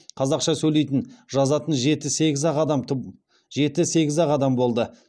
қазақша сөйлейтін жазатын жеті сегіз ақ адам болды